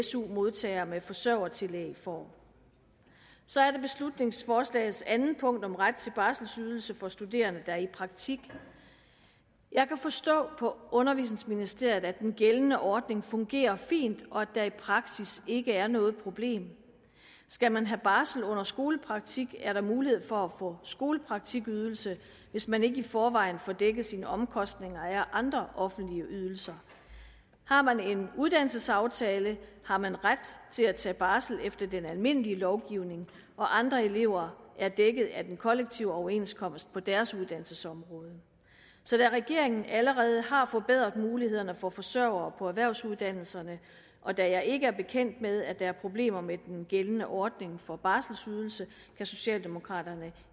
su modtager med forsørgertillæg får så er der beslutningsforslagets andet punkt om ret til barselsydelse for studerende der er i praktik jeg kan forstå på undervisningsministeriet at den gældende ordning fungerer fint og at der i praksis ikke er noget problem skal man have barsel under skolepraktik er der mulighed for at få skolepraktikydelse hvis man ikke i forvejen får dækket sine omkostninger af andre offentlige ydelser har man en uddannelsesaftale har man ret til at tage barsel efter den almindelige lovgivning og andre elever er dækket af den kollektive overenskomst på deres uddannelsesområde så da regeringen allerede har forbedret mulighederne for forsørgere på erhvervsuddannelserne og da jeg ikke er bekendt med at der er problemer med den gældende ordning for barselsydelse kan socialdemokraterne